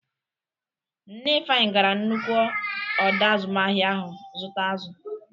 Nne Ifeanyi gara nnukwu ọdọ azụmahịa ahụ zụta azụ.